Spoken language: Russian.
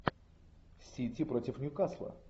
сити против ньюкасла